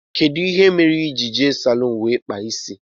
Kedụ ihe mere ijiri jee n' salun wee kpaa isi?